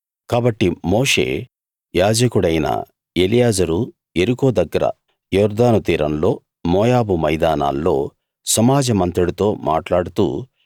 కాబట్టి మోషే యాజకుడైన ఎలియాజరు యెరికో దగ్గర యోర్దాను తీరంలో మోయాబు మైదానాల్లో సమాజమంతటితో మాట్లాడుతూ